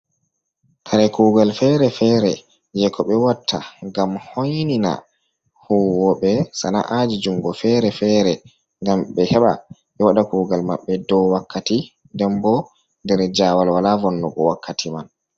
Kare kugal fere-fere je ko be watta gam hoynina huwobe sana'aji jungo fere-fere, gam ɓe heɓa ɓe waɗa kugal maɓɓe dow wakkati ndenbo ndar jawal wala vonnugo wakkati man.